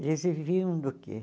Eles viviam do quê?